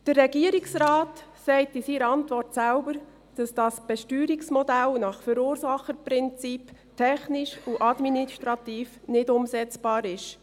Der Regierungsrat sagt in seiner Antwort selbst, dass das Besteuerungsmodell nach Verursacherprinzip technisch und administrativ nicht umsetzbar ist.